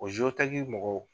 O mɔgɔw.